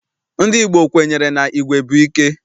Ndị Igbo kwenyere na igwe bụ ike.